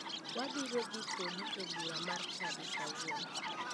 Wabiro dhi kodi e bura mar chadi ma kawuono.